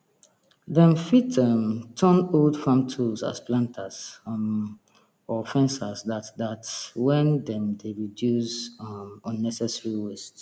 dem fit um turn old farm tools as planters um or fencers dat dat wen dem dey reduce um unnecessary waste